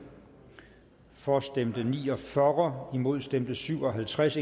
for stemte ni og fyrre imod stemte syv og halvtreds